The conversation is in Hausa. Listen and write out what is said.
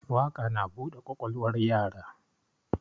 Waƙa na buɗe ƙwaƙwalwar yara